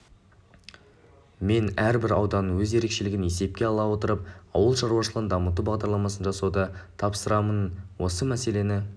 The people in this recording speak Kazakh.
мен әрбір ауданның өз ерекшелігін есепке ала отырып ауыл шаруашылығын дамыту бағдарламасын жасауды тапсырамын осы мәселені